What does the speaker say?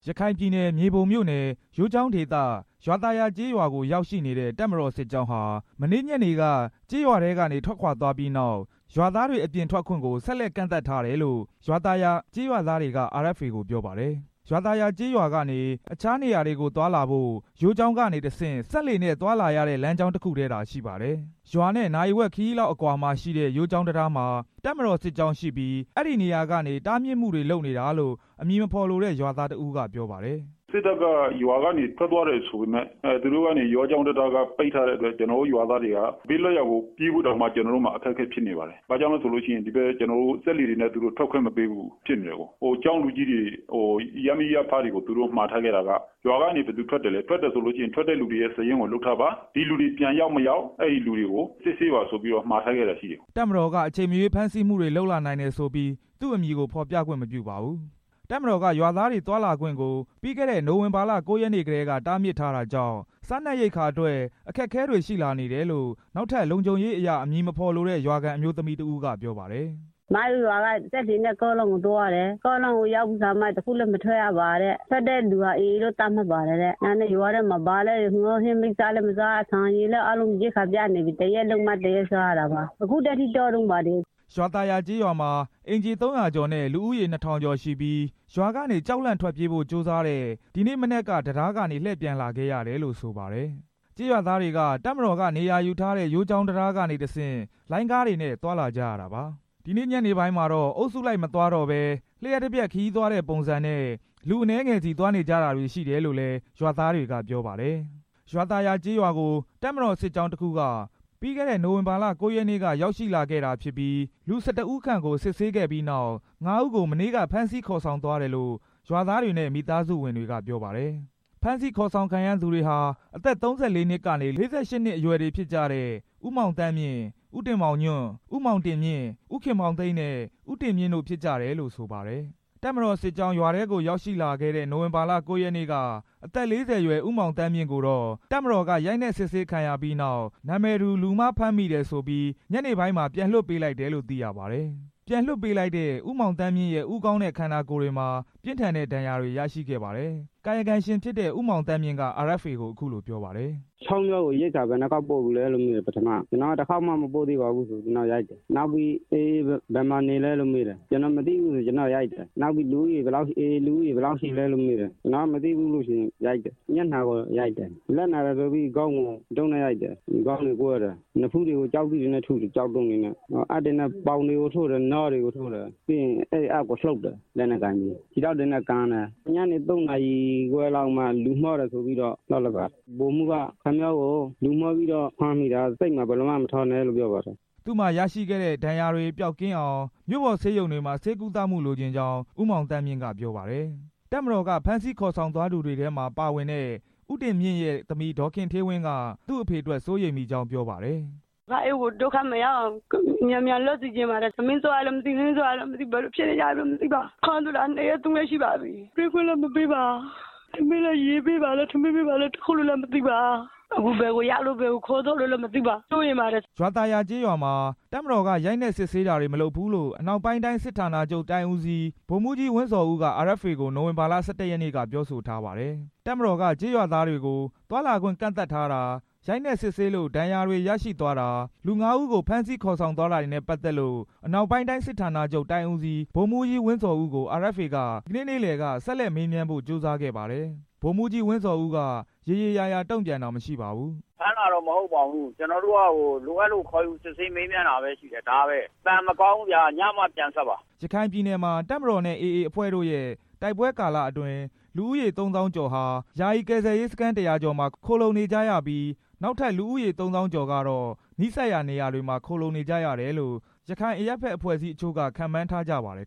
ရခိုင်ပြည်နယ် မြေပုံမြို့နယ် ယိုးချောင်းဒေသ ရွာသာယာကျေးရွာကို ရောက်ရှိနေတဲ့ တပ်မတော်စစ်ကြောင်းဟာ မနေ့ညနေက ကျေးရွာထဲကနေ ထွက်ခွာသွားပြီးနောက် ရွာသားတွေအပြင်ထွက်ခွင့်ကို ဆက်လက်ကန့်သတ် ထားတယ်လို့ ကျေးရွာသားတွေက RFA ကို ပြောပါတယ်။ ရွာသာယာကျေးရွာကနေ အခြားနေရာတွေကိုသွားလာဖို့ ယိုးချောင်းကနေတစ်ဆင့် စက်လှေနဲ့သွားလာရတဲ့ လမ်းကြောင်းတစ်ခုတည်းသာ ရှိပါတယ်။ ရွာနဲ့ နာရီဝက်ခရီးလောက်အကွာမှာရှိတဲ့ ယိုးချောင်းတံတားမှာ တပ်မတော်စစ်ကြောင်းရှိပြီး အဲဒီနေရာကနေ တားမြစ်မှုတွေလုပ်နေတာလို့ အမည်မဖော်လိုတဲ့ ရွာသားတစ်ဦးကပြောပါတယ်။ “စစ်တပ်က ရွာကနေထွက်သွားတယ်ဆိုပေမယ့် သူတို့က ယိုးချောင်းတံတားကနေ ပိတ်ထားတဲ့အတွက် ကျွန်တော်တို့ရွာသားတွေက ဘေးလွတ်ရာကို ပြေးဖို့တောင်မှ ကျွန်တော်တို့မှာ အခက်အခဲဖြစ်နေပါတယ်။ ဘာကြောင့်လဲဆိုလို့ရှိရင် သူတို့က စက်လှေတွေနဲ့ ထွက်ခွင့်မပေးဘူး။ ကျောင်းလူကြီးတွေ၊ ရပ်မိရပ်ဖတွေကို သူတို့မှာထားခဲ့တာက ရွာကနေ ဘယ်သူထွက်သလဲ၊ ထွက်တယ်ဆိုလို့ရှိရင် ထွက်တဲ့လူတွေရဲ့စာရင်းကို လုပ်ထားပါ။ ဒီလူတွေပြန်ရောက်မရောက် အဲဒီလူတွေကို စစ်ဆေးပါဆိုပြီးတော့ မှာထားခဲ့တာရှိတယ်” တပ်မတော်က အချိန်မရွေးဖမ်းဆီးမှုတွေ လုပ်လာနိုင်တယ်ဆိုပြီး သူ့အမည်ကိုဖော်ပြခွင့်မပြုပါဘူး။ တပ်မတော်က ရွာသားတွေသွားလာခွင့်ကို ပြီးခဲ့တဲ့ နိုဝင်ဘာလ ၉ ရက်နေ့ကတည်းက တားမြစ်ထားတာကြောင့် စားနပ်ရိက္ခာအတွက် အခက်အခဲတွေရှိလာနေတယ်လို့ နောက်ထပ်လုံခြုံရေးအရ အမည်မဖော်လိုတဲ့ ရွာခံအမျိုးသမီးတစ်ဦးကပြောပါတယ်။ “ကျွန်မတို့ရွာက ကားလမ်းကို စက်လှေနဲ့သွားရတယ်။ ကားလမ်းကိုရောက်ပြီးကာမှ ဘယ်မှမသွားရဘူးတဲ့။ သွားတဲ့လူတွေကို အေအေလို့ သတ်မှတ်ပါတယ်တဲ့။ ဒါကြောင့်ရွာထဲမှာ ငါးဟင်းတွေလည်းမစားရ။ ဆန်ရိက္ခာတွေလည်းပြတ်နေပြီ။ အခုထိတားနေတုန်းပါ” ရွာသာယာကျေးရွာမှာ အိမ်ခြေ ၃၀၀ ကျော်နဲ့ လူဦးရေ ၂၀၀၀ ကျော်ရှိပြီး ရွာကနေ ကြောက်လန့်ထွက်ပြေးဖို့ ကြိုးစားတဲ့ ကျေးရွာသားတွေက ဒီနေ့မနက်က တံတားကနေပြန်လှည့်လာခဲ့ရတယ်လို့ ဆိုပါတယ်။ ကျေးရွာသားတွေက တပ်မတော်ကနေရာယူထားတဲ့ ယိုးချောင်းတံတားကနေတစ်ဆင့် လိုင်းကားတွေနဲ့ သွားလာကြရတာပါ။ ဒီနေ့ညနေပိုင်းမှာတော့ အုပ်စုလိုက်မသွားတော့ဘဲ လျှပ်တစ်ပြက် ခရီးသွားတဲ့ပုံစံနဲ့ လူအနည်းငယ်စီ သွားနေကြတာတွေ ရှိတယ်လို့လည်း ရွာသားတွေကပြောပါတယ်။ ရွာသာယာကျေးရွာကို တပ်မတော်စစ်ကြောင်းတစ်ခုက ပြီးခဲ့တဲ့ နိုဝင်ဘာလ ၉ ရက်နေ့က ရောက်ရှိလာခဲ့တာ ဖြစ်ပြီး လူ ၁၁ ဦးခန့်ကို စစ်ဆေးခဲ့ပြီးနောက် ငါးဦးကို မနေ့က ဖမ်းဆီးခေါ်ဆောင်သွားတယ်လို့ ရွာသားတွေနဲ့ မိသားစုဝင်တွေကပြောပါတယ်။ ဖမ်းဆီးခေါ်ဆောင်ခံရသူတွေဟာ အသက် ၃၄ နှစ်ကနေ ၄၈ နှစ်အရွယ်တွေဖြစ်ကြတဲ့ ဦးမောင်သန်းမြင့်၊ ဦးတင်မောင်ညွန့်၊ ဦးမောင်တင်မြင့်၊ ဦးခင်မောင်သိန်းနဲ့ ဦးတင်မြင့် တို့ဖြစ်ကြတယ်လို့ ဆိုပါတယ်။ တပ်မတော်စစ်ကြောင်း ရွာထဲကိုရောက်ရှိလာခဲ့တဲ့ နိုဝင်ဘာ ၉ ရက်နေ့က အသက် ၄၀ အရွယ် ဦးမောင်သန်းမြင့်ကိုတော့ တပ်မတော်က ရိုက်နှက်စစ်ဆေးခံရပြီးနောက် နာမည်တူ လူမှားဖမ်းမိတယ်ဆိုပြီး ညနေပိုင်းမှာ ပြန်လွှတ်ပေးလိုက်တယ်လို့ သိရပါတယ်။ ပြန်လွှတ်ပေးလိုက်တဲ့ ဦးမောင်သန်းမြင့်ရဲ့ ဦးခေါင်းနဲ့ ကိုယ်ခန္ဓာတွေမှာ ပြင်းထန်တဲ့ ဒဏ်ရာတွေ ရရှိခဲ့ပါတယ်။ ကာယကံရှင်ဖြစ်တဲ့ ဦးမောင်သန်းမြင့်က RFA ကို အခုလိုပြောပါတယ်။ “ချောင်းဖျားကို ရိက္ခာဘယ်နှစ်ကြိမ်ပို့ပြီးပြီလဲလို့ ပထမဆုံးမေးတော့ ကျွန်တော်က တစ်ခေါက်မှမပို့ပါဘူးလို့ ပြောတော့ ကျွန်တော့ကို ရိုက်တယ်။ နောက်ပြီးတော့ အေအေတွေ ဘယ်မှာနေလဲလို့မေးတယ်။ ကျွန်တော်က လည်း မသိဘူးလို့ပြောတော့ ရိုက်တယ်။ နောက်ပြီး အေအေလူဦးရေ ဘယ်လောက်ရှိလဲလို့မေးတယ်။ ကျွန်တော်ကလည်းမသိဘူးလို့ဖြေတော့ ရိုက်တယ်။ မျက်နှာကိုရိုက်တယ်။ သူတို့လက်နာလို့ဆိုပြီး ခေါင်းကို တုတ်နဲ့ရိုက်တယ်။ ကျွန်တော့ခေါင်း ကွဲသွားတယ်။ နဖူးတွေကို ကျောက်တုံးတွေနဲ့ထုတယ်။ အပ်တွေနဲ့ ပေါင်တွေကိုထိုးတယ်၊ နားတွေကိုလည်း ထိုးတယ်။ ပြီးရင် အဲဒီအပ်ကိုနုတ်တယ်။ ခြေထောက်တွေနဲ့ကန်တယ်။ ညနေ သုံးနာရီခွဲလောက်မှ လူမှားတယ်ဆိုပြီး လွှတ်လိုက်ပါတယ်။ ဗိုလ်မှူးက ခင်ဗျားကို လူမှားပြီးတော့ ဖမ်းမိတာ၊ စိတ်မှာ ဘယ်လိုမှမထားပါနဲ့လို့ပြောပါတယ်” သူ့မှာရရှိခဲ့တဲ့ ဒဏ်ရာတွေပျောက်ကင်းအောင် မြို့ပေါ်ဆေးရုံတွေမှာ ဆေးကုသမှုလိုချင်ကြောင်း ဦးမောင်သန်းမြင့်ကပြောပါတယ်။ တပ်မတော်က ဖမ်းဆီးခေါ်ဆောင်သွားသူတွေထဲမှာပါဝင်တဲ့ ဦးတင်မြင့်ရဲ့ သမီး ဒေါ်ခင်ဌေးဝင်းက သူ့အဖေအတွက် စိုးရိမ်မိကြောင်းပြောပါတယ်။ “ဒုက္ခမရောက်အောင် အဖေ့ကို မြန်မြန်လွှတ်ပေးစေချင်ပါတယ်။ ထမင်းစားရရဲ့လား ဘယ်လိုဖြစ်နေပြီလဲ မသိပါ။ ဖမ်းသွားတာ နှစ်ရက် သုံးရက်ရှိပါပြီ။ တွေ့ခွင့်လည်းမရပါ။ ထမင်းပေးလား၊ ရေပေးသလား မသိရပါ။ အခုဘယ်ကိုရောက်နေလို့ ဘယ်ကိုခေါ်သွားကြမှန်းမသိပါ။ စိုးရိမ်နေကြပါတယ်” ရွာသာယာကျေးရွာမှာ တပ်မတော်က ရိုက်နှက်စစ်ဆေးတာတွေမလုပ်ဘူးလို့ အနောက်ပိုင်းတိုင်း စစ်ဌာနချုပ် တိုင်းဦးစီး ဗိုလ်မှူးကြီး ဝင်းဇော်က RFA ကို နိုဝင်ဘာ ၁၁ ရက်နေ့ကပြောဆိုထားပါတယ်။ တပ်မတော်က ကျေးရွာသားတွေကို သွားလာခွင့်ကန့်သတ်ထားတာ၊ ရိုက်နှက်စစ်ဆေးလို့ ဒဏ်ရာတွေရရှိ သွားတာ၊ လူ ငါးဦးကို ဖမ်းဆီးခေါ်ဆောင်သွားတာတွေနဲ့ပတ်သက်လို့ အနောက်ပိုင်းတိုင်း စစ်ဌာနချုပ် တိုင်းဦးစီး ဗိုလ်မှူးကြီး ဝင်းဇော်က RFA က ဒီနေ့ နေ့လယ်က ဆက်လက်မေးမြန်းဖို့ကြိုးစားခဲ့ပါတယ်။ ဗိုလ်မှူးကြီး ဝင်းဇော်ဦးက ရေရေရာရာ တုံ့ပြန်တာမရှိပါဘူး။ “ဖမ်းတာတော့မဟုတ်ဘူး။ ကျွန်တော်တို့က လိုအပ်လို့ ခေါ်ယူစစ်ဆေးမေးမြန်းတာပဲရှိတယ်။ ဒါပဲ။ အသံမကောင်းဘူးဗျာ။ ညမှပြန်ဆက်ပါ” ရခိုင်ပြည်နယ်မှာ အခုနှစ် တပ်မတော်နဲ့ အေအေ အဖွဲ့တို့ရဲ့တိုက်ပွဲကာလအတွင်း လူဦးရေ သုံးသောင်းကျော်ဟာ ယာယီကယ်ဆယ်ရေးစခန်း ၁၀၀ ကျော်မှာ ခိုလှုံနေကြရပြီး နောက်ထပ် လူဦးရေ သုံးသောင်းကျော်ကတော့ နီးစပ်ရာနေရာတွေမှာ ခိုလှုံနေကြရတယ်လို့ ရခိုင်အရပ်ဘက်အချို့က ခန့်မှန်းထားကြပါတယ်